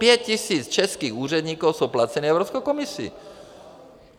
Pět tisíc českých úředníků je placeno Evropskou komisí.